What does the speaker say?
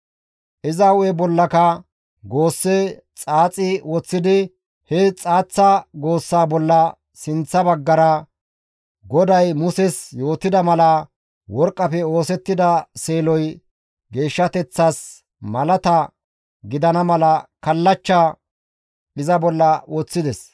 Iza hu7e bollaka goosse xaaxi woththidi he xaaththa goossa bolla sinththa baggara GODAY Muses yootida mala worqqafe oosettida seeloy geeshshateththas malata gidana mala kallachcha iza bolla woththides.